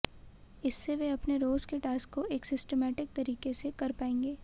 इससे वे अपने रोज के टास्क को एक सिस्टमैटिक तरीके से कर पाएंगे